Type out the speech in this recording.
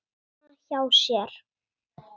heima hjá sér.